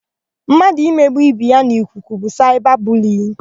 Mmadụ imegbu ibe ya n'ikuku bụ saịba buliyin.